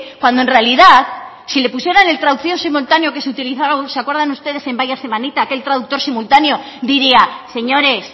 cuando en realidad si le pusieran el traductor simultáneo que se utilizaba se acuerdan ustedes en vaya semanita aquel traductor simultáneo diría señores